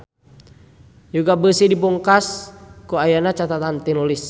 Yuga Beusi dipungkas ku ayana catetan tinulis.